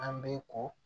An bɛ ko